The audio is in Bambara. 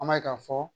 An b'a ye k'a fɔ